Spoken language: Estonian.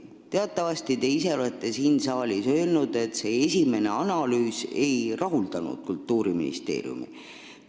Teatavasti olete te ise siin saalis öelnud, et see esimene analüüs ei rahuldanud Kultuuriministeeriumi.